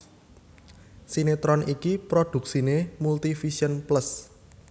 Sinetron iki prodhuksiné Multivision Plus